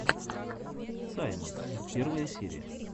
саймонс первая серия